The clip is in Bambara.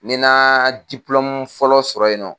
Ne na fɔlɔ sɔrɔ yen nɔ.